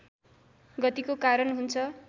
गतिको कारण हुन्छ